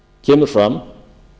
kemur fram